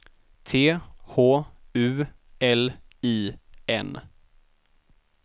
T H U L I N